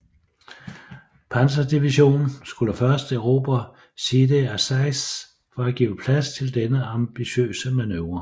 Panzerdivision skulle først erobre Sidi Azeiz for at give plads til denne ambitiøse manøvre